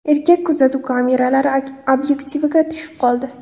Erkak kuzatuv kameralari obyektiviga tushib qoldi.